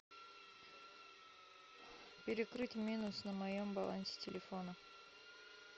перекрыть минус на моем балансе телефона